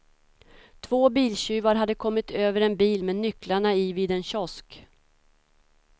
Två biltjuvar hade kommit över en bil med nycklarna i vid en kiosk.